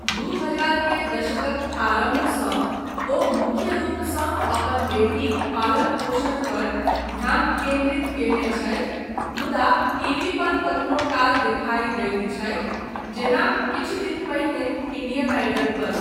दू हजार के दशकक आरम्भसँ ओ मुख्य रूपसँ अपन बेटीक पालन पोषण पर ध्यान केन्द्रित कयने छथि, मुदा टीवी पर कखनो काल देखाइ दैत छथि जेना किछु दिन पहिने इंडियन आइडल पर।